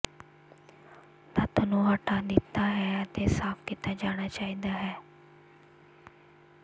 ਤੱਤ ਨੂੰ ਹਟਾ ਦਿੱਤਾ ਹੈ ਅਤੇ ਸਾਫ਼ ਕੀਤਾ ਜਾਣਾ ਚਾਹੀਦਾ ਹੈ